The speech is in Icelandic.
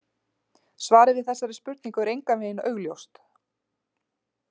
Svarið við þessari spurningu er engan veginn augljóst.